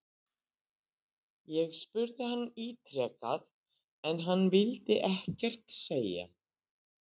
Ég spurði hann ítrekað en hann vildi ekkert segja???